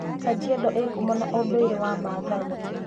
Kajiado ĩĩ ngumo na ũndũire wa Maathai.